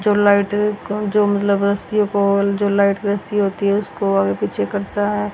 जो लाइट को जो लगा जो लाइट वैसी होती है उसको आगे पिछे करता है।